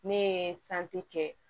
Ne ye kɛ